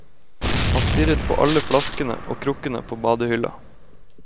Han stirret på alle flaskene og krukkene på badehylla.